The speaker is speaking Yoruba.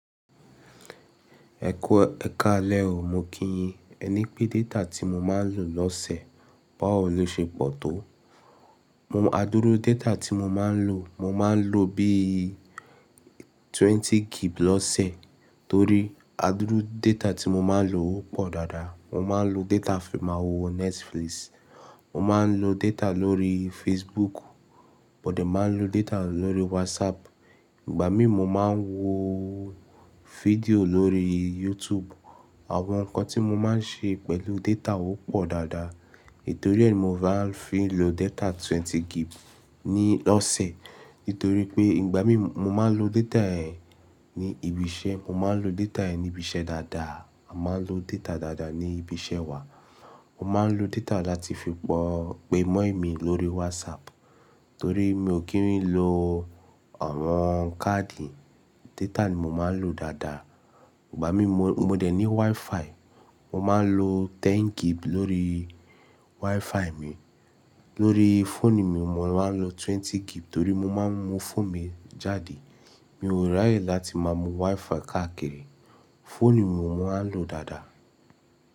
Ẹkú ẹkáalẹ o, mo kíyin. Ẹ ní pé data tí mo máa ń lò lọ́sẹ̀ báwo ló ṣe pọ̀ tó. Adúró data tí mo máa ń lò, mo máa ń lò bí i 20GB lọ́sẹ̀ torí adúró data tí mo máa ń lò ó pọ̀ dáadáa. Mo máa ń lo data fi máa wo Netflix, mo máa ń lo data lórí Facebook, mo dẹ̀ máa ń lo data lórí WhatsApp. Ìgbà mí mo máa ń wo fídíò lórí YouTube. Àwọn nǹkan tí mo máa ń ṣe pẹ̀lú data ó pọ̀ dáadáa. Ètò rẹ ni mo máa ń fi lo data 20GB ní lọ́sẹ̀ nítorí pé ìgbà mí mo máa ń lo data ẹ ní ibi iṣẹ́, mo máa ń lo data ẹ ní ibi iṣẹ́ dáadáa. Mo máa ń lo data dáadáa ní ibi iṣẹ́ wa. Mo máa ń lo data dáadáa ti fi pé mummy lórí WhatsApp torí mi ò kí ń lo awọn káàdì, data ni mo máa ń lò dáadáa. Ìgbà mí mo, mo dẹ̀ ní WiFi. Mo máa ń lo 10GB lórí WiFi mi. Lórí fóònù mi mo máa ń lo 20GB torí mo máa ń mú fóònù mi jáde. Mi o raye láti máa mú WiFi káàkiri. Fóònù mi mo máa ń lò dáadáa.